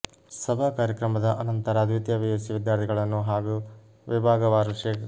ಸಭಾ ಕಾರ್ಯಕ್ರಮದ ಅನಂತರ ದ್ವೀತಿಯ ಪಿಯುಸಿ ವಿದ್ಯಾರ್ಥಿಗಳನ್ನು ಹಾಗೂ ವಿಭಾಗವಾರು ಶೇ